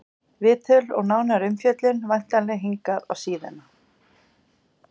Viðtöl og nánari umfjöllun væntanleg hingað á síðuna.